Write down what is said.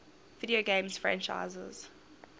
video game franchises